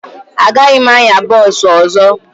Agaghị m anya bọọsụ ọzọ